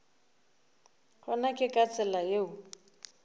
gona ke ka tsela yeo